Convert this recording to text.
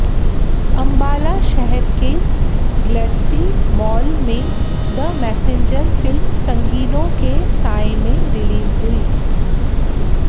अम्बाला शहर के galaxy mall में द मैसेंजर फिल्म संगीनों के साये में रिलीज हुई